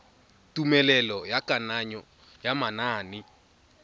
tumelelo ya kananyo ya manane